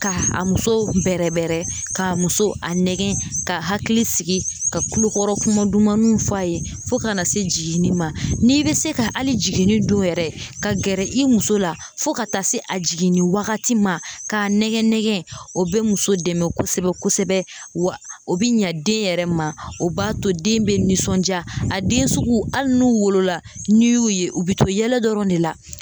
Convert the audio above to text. K'a a muso bɛrɛ bɛrɛ, k'a muso nɛgɛn k'a hakili sigi ,k'a kulokɔrɔ kuma dumanw f'a ye fo ka na se jiginni ma, n'i bɛ se ka hali jiginni don yɛrɛ ka gɛrɛ i muso la fo ka taa se a jiginni wagati ma k'a nɛgɛ nɛgɛ, o bɛ muso dɛmɛ kosɛbɛ kosɛbɛ o bɛ ɲa den yɛrɛ ma o b'a to den bɛ nisɔnja, a den sugu hali n'u wolola n'i y'u ye u bɛ to yɛlɛ dɔrɔn de la.